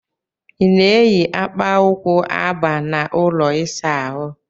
I na-eyi akpa ụkwụ aba n'ụlọ ịsa ahụ?